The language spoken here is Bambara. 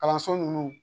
Kalanso ninnu